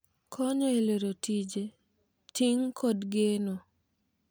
Konyo e lero tije, ting' kod geno.